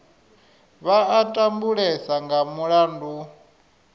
vha a tambulesa nga mulandu